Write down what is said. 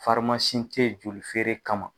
te yen joli feere kama.